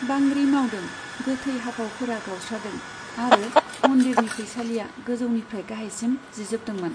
बांग्रि मावदों, गोथै हाफावफोरा गावस्रादों आरो मन्दिरनि फैसालिया गोजौनिफ्राय गाहायसिम जिजोबदोंमोन।